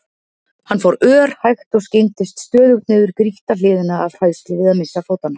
Hann fór örhægt og skyggndist stöðugt niður grýtta hlíðina af hræðslu við að missa fótanna.